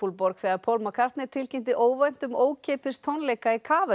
borg þegar Paul McCartney tilkynnti óvænt um ókeypis tónleika í